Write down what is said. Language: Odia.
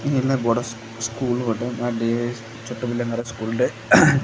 ଏହା ବଡ ସ୍କୁ ସ୍କୁଲ ଅଟେ ବା ଡେ ୱାଇଜ୍ ଛୋଟ ପିଲାଙ୍କର ସ୍କୁଲ ଟେ।